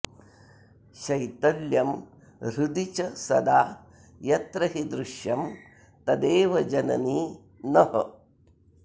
शैतल्यं हृदि च सदा यत्र हि दृश्यं तदेव जननी नः